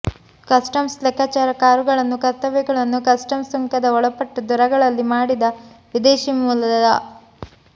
customs ಲೆಕ್ಕಾಚಾರ ಕಾರುಗಳನ್ನು ಕರ್ತವ್ಯಗಳನ್ನು ಕಸ್ಟಮ್ಸ್ ಸುಂಕದ ಒಳಪಟ್ಟು ದರಗಳಲ್ಲಿ ಮಾಡಿದ ವಿದೇಶಿ ಮೂಲದ